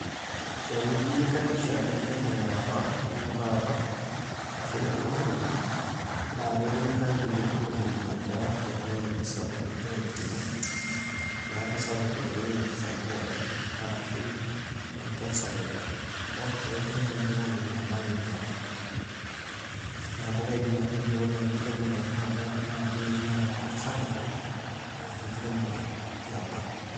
Tenijo ailinganisha enkiremore e apa o ene taata ashu enekuna olong`i, naa ketinyikayie enekuna ololng`i aata technology sapuk nagira aitumia. Neeku sapuk oleng enkisampuare arashu enkesare ol enkiremore ekuna olong`i alang eniapa. Niaku kaidim atejo ore enkiremore e taata naa ake ninye naata dupoto sapuk alang enkiremore eapa.